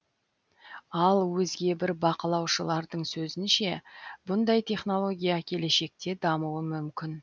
ал өзге бір бақылаушылардың сөзінше бұндай технология келешекте дамуы мүмкін